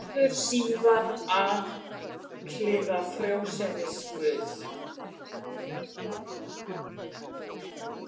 Verður síðar alhliða frjósemisguð.